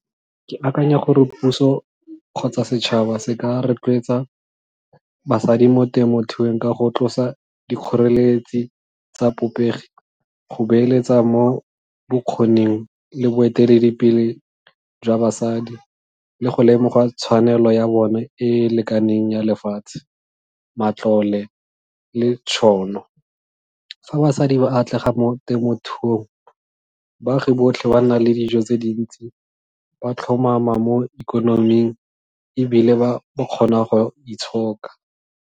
Ke akanya gore puso kgotsa setšhaba se ka rotloetsa basadi mo temothuong ka go tlosa dikgoreletsi tsa go beeletsa mo bokgoning le boeteledipele jwa basadi, le go lemogwa tshwanelo ya bone e e lekaneng ya lefatshe, matlole le tšhono. Fa basadi ba atlega mo temothuong, baagi botlhe ba nna le dijo tse dintsi, ba tlhomama mo ikonoming, e bile ba ba kgona go itshoka.